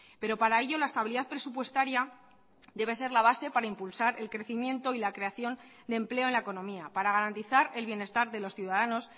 pero para ello la estabilidad presupuestaria debe ser la base para impulsar el crecimiento y la creación de empleo en la economía para garantizar el bienestar de los ciudadanos